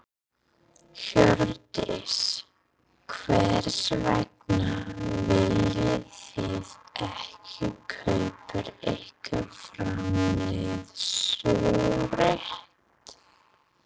Hjördís: Hvers vegna viljið þið ekki kaupa ykkur framleiðslurétt?